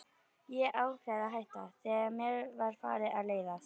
Ég afréð að hætta, þegar mér var farið að leiðast.